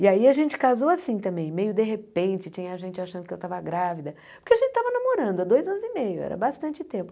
E aí a gente casou assim também, meio de repente, tinha gente achando que eu estava grávida, porque a gente estava namorando há dois anos e meio, era bastante tempo.